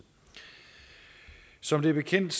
som bekendt